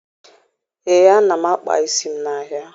Ee, ana m akpa isi m n'ahịa